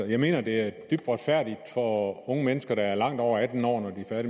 jeg mener det er dybt retfærdigt for unge mennesker der er langt over atten år når de er